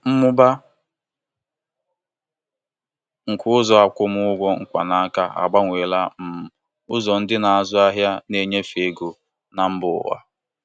Ụzọ ịkwụ ụgwọ mkpanaka dabara adaba n'enyere aka ibute azụmahịa enweghị nkebi n'ofe nyiwe dijitalụ dị iche iche.